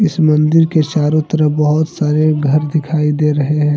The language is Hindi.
इस मंदिर के चारों तरफ बहुत सारे घर दिखाई दे रहे हैं।